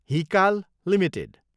Hikal Ltd